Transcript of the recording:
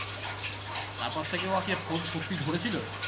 তারপর থেকে ও আর কি আর phone সত্যি ধরেছিলো